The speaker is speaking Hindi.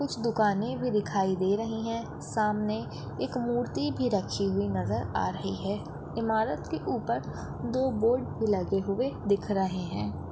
कुछ दुकाने भी दिखाई दे रही हैं सामने एक मूर्ति भी रखी हुई नजर आ रही हैं ईमारत के ऊपर दो बोर्ड लगे हुए दिखाई दे रहे हैं।